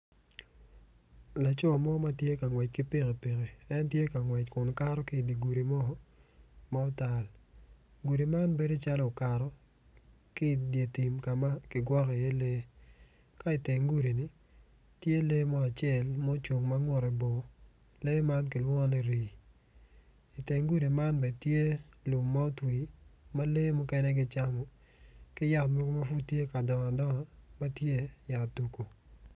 Laco mo ma tye ka ngwec ki pikipiki en tye ka ngwec kun kato ki i di gudi ma otal gudi man bedo calo okato ki idyer tim ka ma ki gwokko iye lee ka iteng gudi-ni tye lee mo acel mucung ma ngutte bor lee man kilwongo ni rii iteng gudi man bene tye lum ma otwi ma lee mukene gicamo ka yat mogo ma pud tye ka dongo ma tye yat dungu